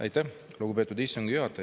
Aitäh, lugupeetud istungi juhataja!